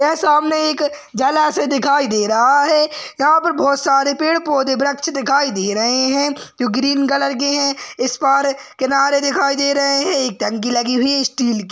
यह सामने एक जलाषय दिखाई दे रहा है यहा पर बहुत सारे पेड़ पौदे वृक्ष दिखाई दे रहे है जो ग्रीन कलर के है इस पार किनारे दिखाई दे रहे है एक टंकी लगी हुई है इस्टील की --